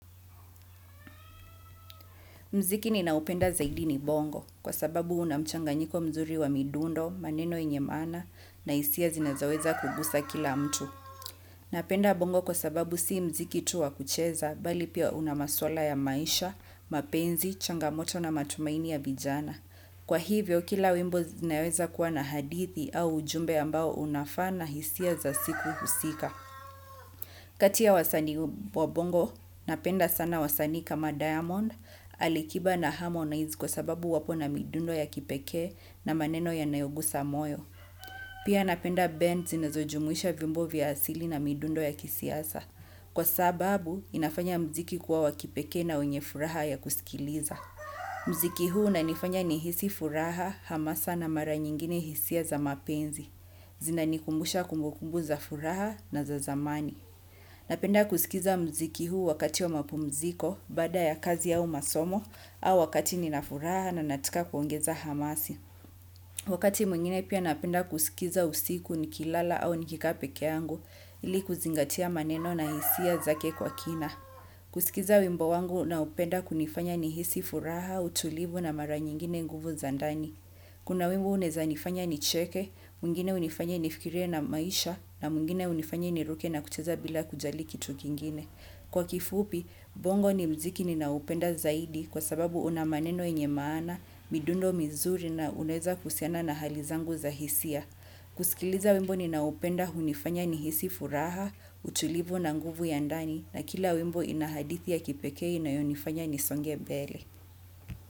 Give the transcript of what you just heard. Mziki ninaopenda zaidi ni bongo kwa sababu una mchanganyiko mzuri wa midundo maneno yenye maana na hisia zinazo weza kuguza kila mtu. Napenda bongo kwa sababu si mziki tu wa kucheza bali pia una maswala ya maisha, mapenzi, changamoto na matumaini ya vijana. Kwa hivyo kila wimbo zinaweza kuwa na hadithi au ujumbe ambao unafana hisia za siku husika. Kati ya wasani wa bongo, napenda sana wasanii kama diamond, alikiba na harmonize kwa sababu wapo na midundo ya kipekee na maneno yanayogusa moyo. Pia napenda band zinezojumuisha vyombo vya asili na midundo ya kisiasa. Kwa sababu, inafanya mziki kuwa wa kipekee na wenye furaha ya kusikiliza. Mziki huu unanifanya nihisi furaha hamasa na mara nyingine hisia za mapenzi, zina nikumbusha kumbukumbu za furaha na za zamani. Napenda kusikiza mziki huu wakati wa mapumziko baada ya kazi au masomo au wakati ninafuraha na ninataka kuongeza hamasi. Wakati mwingine pia napenda kusikiza usiku nikilala au nikikaa pekeyangu ili kuzingatia maneno na hisia zake kwa kina. Kuskiza wimbo wangu naupenda kunifanya nihisi furaha, utulivu na mara nyingine nguvu za ndani. Kuna wimbo unaeza nifanya nicheke, mwingine hunifanya nifikirie na maisha na mwingine hunifanya niruke na kucheza bila kujali kitu kingine. Kwa kifupi, bongo ni mziki ninaoupenda zaidi kwa sababu una maneno yenye maana, midundo mizuri na unaeza kusiana na hali zangu za hisia. Kusikiliza wimbo ninaopenda hunifanya nihisi furaha utulivu na nguvu ya ndani na kila wimbo ina hadithi ya kipekee inayonifanya nisonge mbele.